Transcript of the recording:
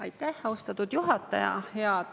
Aitäh, austatud juhataja!